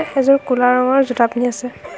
এযোৰ ক'লা ৰঙৰ জোতা পিন্ধি আছে।